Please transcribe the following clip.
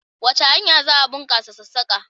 Wace hanya za a bunkasa sassaka?